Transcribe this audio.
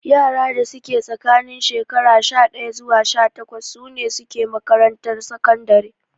Yara da suke tsakanin shekaru sha ɗaya zuwa sha takwas sune suke makarantar sakandare